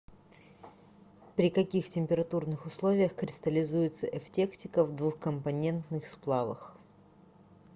при каких температурных условиях кристаллизуется эвтектика в двухкомпонентных сплавах